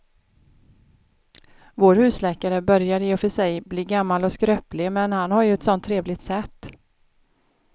Vår husläkare börjar i och för sig bli gammal och skröplig, men han har ju ett sådant trevligt sätt!